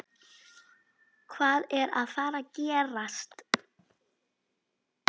Hvað er að fara að gerast?